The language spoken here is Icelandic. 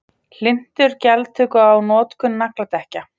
Hlynntur gjaldtöku á notkun nagladekkja